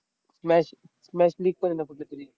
match match league पण आहे ना कुठलं तरी?